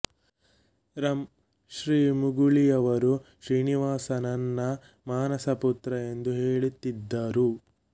ರಂ ಶ್ರೀ ಮುಗಳಿಯವರೂ ಶ್ರೀನಿವಾಸ ನನ್ನ ಮಾನಸಪುತ್ರ ಎಂದೇ ಹೇಳುತಿದ್ದರು